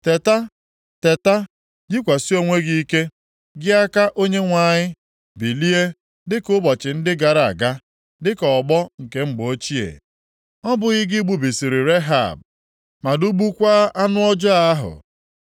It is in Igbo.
Teta, teta, yikwasị onwe gị ike, gị aka Onyenwe anyị, bilie, dịka ụbọchị ndị gara aga, dịka ọgbọ nke mgbe ochie. Ọ bụghị gị gbubisịrị Rehab ma dụgbukwaa anụ ọjọọ ahụ?